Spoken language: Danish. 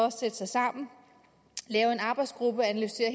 at sætte sig sammen lave en arbejdsgruppe og analysere